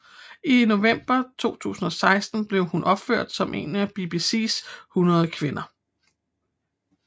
I november 2016 blev hun opført som en af BBCs 100 kvinder